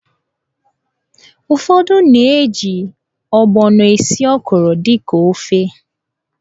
Ufọdụ na-eji ọgbọnọ esi ọ́kwụ̀rụ̀ dịka ofe.